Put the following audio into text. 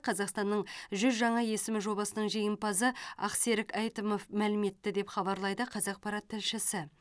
қазақстанның жүз жаңа есімі жобасының жеңімпазы ақсерік әйтімов мәлім етті деп хабарлайды қазақпарат тілшісі